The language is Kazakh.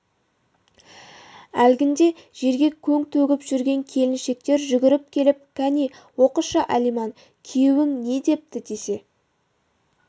әлгінде жерге көң төгіп жүрген келіншектер жүгіріп келіп кәне оқышы алиман күйеуің не депті десе